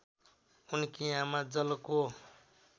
उनकी आमा जलको